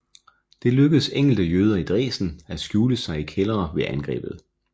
Det lykkedes enkelte jøder i Dresden at skjule sig i kældre ved angrebet